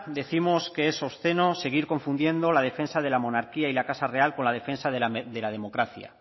décimos que es obsceno seguir confundiendo la defensa de la monarquía y la casa real con la defensa de la democracia